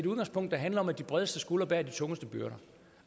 udgangspunkt der handler om at de bredeste skuldre bærer de tungeste byrder